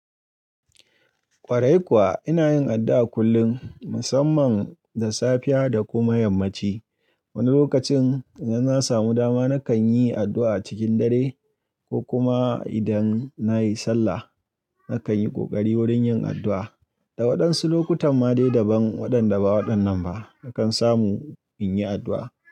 Kwarai kuwa ina yin addu'a kullum, musamman da safiya da kuma yammaci. Wani lokacin idan na samu dama nakan yi addu'a cikin dare ko kuma idan na yi sallah nakan yi ƙoƙari wurin yin addu'a. Da waɗansu lokutan ma dai daban waɗanda ba waɗannan ba nakan samu in yi addu'a.